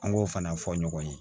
An k'o fana fɔ ɲɔgɔn ye